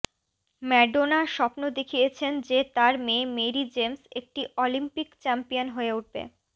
Madonna স্বপ্ন দেখিয়েছেন যে তার মেয়ে মেরি জেমস একটি অলিম্পিক চ্যাম্পিয়ন হয়ে উঠবে